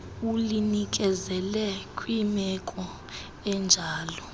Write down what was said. ulinikezele kwimeko enjalo